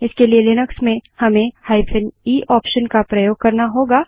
इसके लिए लिनक्स में हमें -e ऑप्शन का प्रयोग करना होगा